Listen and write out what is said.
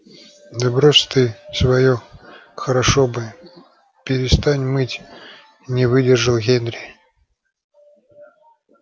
да брось ты своё хорошо бы перестань мыть не выдержал генри